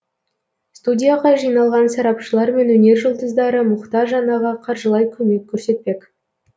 студияға жиналған сарапшылар мен өнер жұлдыздары мұқтаж анаға қаржылай көмек көрсетпек